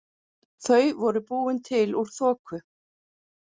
Þau voru búin til úr þoku.